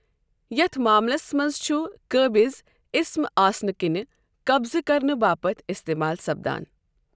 یتھ ماملس منز چھٗ قٲبِض اِسم آسنہٕ كِنہِ قبضہٕ كرنہٕ باپت اِستعمال سپدان ۔